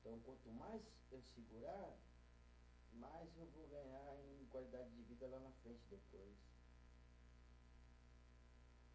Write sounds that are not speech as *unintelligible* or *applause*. *unintelligible* Quanto mais eu segurar, mais eu vou ganhar em qualidade de vida lá na frente depois.